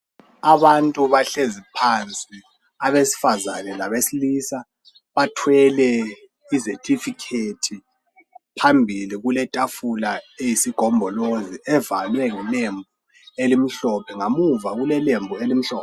Abantu bahlezi phansi abesifazane labesilisa bathwele izethifikethi phambili kuletafula eyisigombolozi evalwe ngelembu elimhlophe ngamuva kulelembu elimhlophe